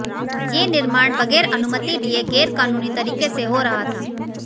ये निर्माण बगैर अनुमति लिए गैरकानूनी तरीके से हो रहा था